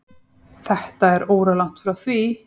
Þetta er óralangt frá því.